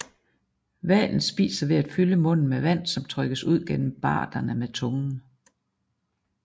Hvalen spiser ved at fylde munden med vand som trykkes ud gennem barderne med tungen